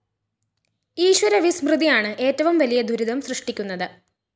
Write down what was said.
ഈശ്വര വിസ്മൃതിയാണ് ഏറ്റവും വലിയ ദുരിതം സൃഷ്ടിക്കുന്നത്